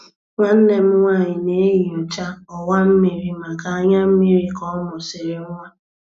Nwanne m nwanyị na-enyocha ọwa mmiri maka anya mmiri ka ọ mụsịrị nwa.